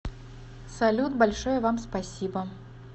салют большое вам спасибо